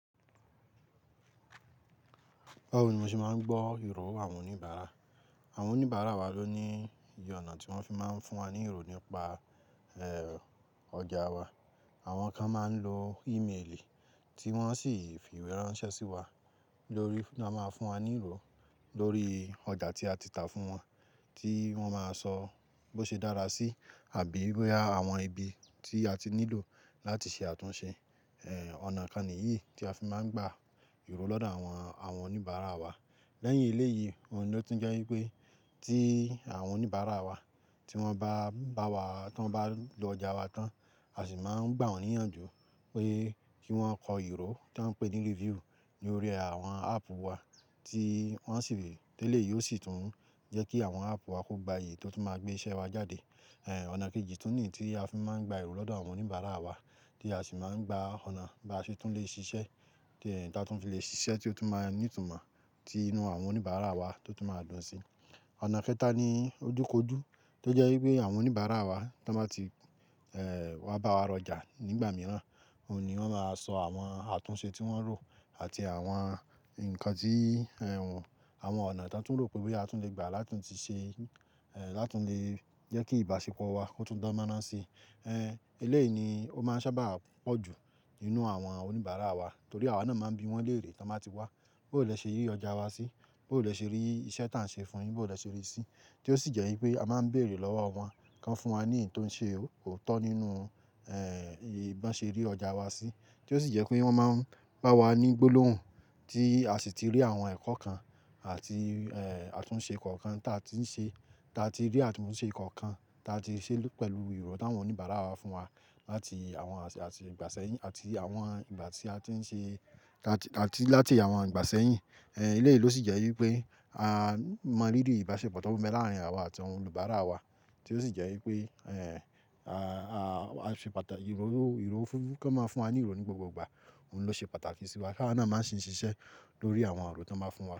Óun ni mo ṣe máa ń gbọ́ ìró àwọn oníbàárà. Àwọn oníbàárà wa ló ní iyì ọ̀nà tí wọ́n fi máa ń fún wa ní ìró nípa, ẹ́, ọjà wa. Àwọn kan máa ń lo ímeèlì tí wọ́n sì fi ìwé ránṣẹ́ sí wa lórí, lọ́ máa fún wa ní ìró lórí ọjà tí a ti tà fún wọn, tí wọ́n máa sọ bó ṣe dára sí àbí bòya àwọn ibi tí a ti nílò láti ṣe àtúnṣe. Ẹ̀, ọ̀nà kan nìyí tí a fi máa ń gba ìró lọ́dọ̀ àwọn, àwọn oníbàárà wa. Lẹ́yìn eléyìí, òun ló tún jẹ́ wípé tí àwọn oníbàárà wa tí wọ́n bá bá wa, tí wọ́n bá lọ ọjà wa tán, a sì máa ń gbà wọ́n níyànjú pé kí wọ́n kọ ìró tí wọ́n ń pè ní review ní orí àwọn áàpù wa tí wọ́n sì lè Eléyìí ó sì tún jẹ́ kí àwọn áàpù wa kó gbayì tó tún máa gbé iṣẹ́ wa jáde. Ẹ̀, ọ̀nà kejì tún nì tí a fi máa ń gba ìró lọ́dọ̀ àwọn oníbàárà wa tí a sì máa ń gba ọ̀nà ba ṣe tún lè ṣiṣẹ́, tí ẹnì táa tún fi lè ṣiṣẹ́ tí ó tún máa ní ìtumọ̀ tí inú àwọn oníbàárà wa tó tún máa dùn sí. Ọ̀nà kẹ́ta ni ojúkoju tó jẹ́ wípé àwọn oníbàárà wa tí wọ́n bá ti, ẹ́, wá bá wa ra ọjà nígbà mìíràn, òun ni wọ́n máa sọ àwọn àtúnṣe tí wọ́n rò àti àwọn nǹkan tí, ẹ́, àwọn ọ̀nà tí wọ́n tún rò pé wí pé a tún lè gbà láti tún ṣe, ẹ́, láti tún lè jẹ́ kí ìbáṣepọ̀ wa kó tún dánmọ́rán si. Ehen è lè ni ó máa sa bà pò jù nínú àwon oníbàárà torí àwa náà máa bí wón léèrè tó bá ti wá bó lè se rí ojà wa sí bó lè se rí isé tá se fún yìí bó lè se rí sí tí ó sì jẹ́ wípé a máa ń béèrè lọ́wọ́ wọn kí wọ́n fún wa ní èyí tó ń ṣe óòtọ́ nínú, ẹ́, ìbá ṣe rí ọjà wa sí. Tí ó sì jẹ́ pé wọ́n máa ń bá wa ní gbólóhùn tí a sì ti rí àwọn ẹ̀kọ́ kan àti, ẹ́, àtúnṣe kọ̀ọ̀kan tí a ti ń ṣe, tí a ti rí àtúnṣe kọ̀ọ̀kan tí a ti ṣe pẹ̀lú ìró tí àwọn oníbàárà wa fún wa láti àwọn, àti ìgbà sẹ́yìn àti àwọn ìgbà tí a ti ń ṣe àti, àti láti àwọn ìgbà sẹ́yìn. Ẹ̀, eléyìí ló sì jẹ́ wípé a mọ̀ ríru ìbáṣepọ̀ tó mú láàárín àwa àti àwọn olùbàárà wa tí ó sì jẹ́ wípé, ẹ́, a, a, a ṣe pàtàkì ìró, ìró, kí wọ́n máa fún wa ní ìró ní gbogbo ìgbà. Òun ló ṣe pàtàkì sí wa kí àwa náà má sì ń ṣiṣẹ́ lórí àwọn ìró tí wọ́n máa ń fún wa.